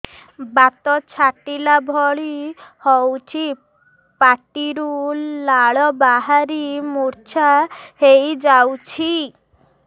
ବାତ ଛାଟିଲା ଭଳି ହଉଚି ପାଟିରୁ ଲାଳ ବାହାରି ମୁର୍ଚ୍ଛା ହେଇଯାଉଛି